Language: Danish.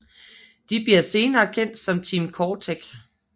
De bliver senere kendt som Team CoreTech